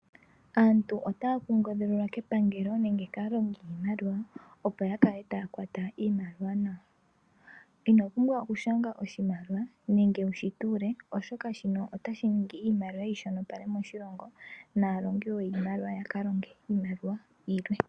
Aantu otaya kunkililwa kepangelo nenge kaalongi yiimaliwa opo ya kale taya kwata iimaliwa nawa. Ino pumbwa oku shanga oshimaliwa nenge wushi tuule, oshoka shino otashi ningi iimaliwa yi shonopale moshilongo, naalongi woo yiimaliwa, yaka longe iimaliwa yilwe.